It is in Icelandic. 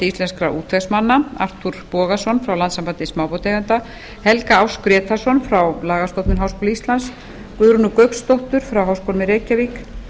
íslenskra útvegsmanna arthur bogason frá landssambandi smábátaeigenda helga áss grétarsson frá lagastofnun háskóla íslands guðrúnu gauksdóttur frá háskólanum í reykjavík